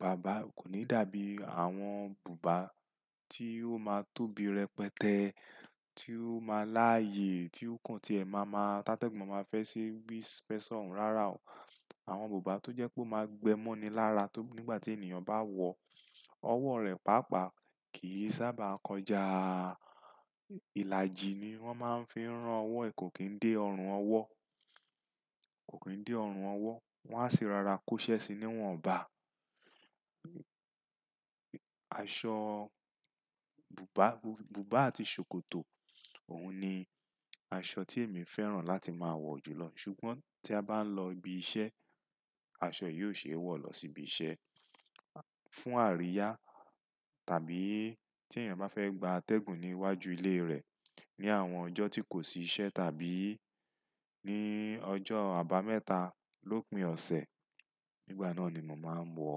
bàbá, kò ní dàbí àwọn bùbá tí ó máa tóbi rẹpẹtẹ́, tí ó máa láàyè, tí ó kún tí ẹ máa ma tátégùn, máa fẹ́ ṣi wispersọ̀n. Rárá o. Àwọn bùbá tó jẹ́ pé ó máa gbẹ́ mọ́ ni lára tó nígbà tí ènìyàn bá wọ̀ ọwọ́ rẹ̀ pàápàá kì í sábà kọjá. Ìlàjì ni wọ́n máa ń fi rán ọwọ́ ẹ kò kín dé ọrùn ọwọ́, kò kín dé ọrùn ọwọ́. Wọ́n á sì rárá kó ṣẹ́ síi ní wọ́n ò bá. Aṣọ bùbá, bùbá àti ṣòkòtò òun ni aṣọ tí èmi fẹ́ràn láti máa wọ̀ jù lọ. Ṣùgbọ́n tí a bá ń lọ ibi iṣẹ́, aṣọ yìí ò ṣe é wọ̀ lọ sí ibi iṣẹ́. Fún àríyá tàbí tí èyàn bá fẹ́ gba atẹ́gùn níwájú ilé rẹ̀ ní àwọn ọjọ́ tí kò sí iṣẹ́ tàbí ní ọjọ́ àbámẹ́ta lópin ọ̀sẹ̀. Nígbà náà ni mo màá ń wọ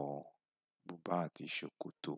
bùbá àti ṣòkòtò.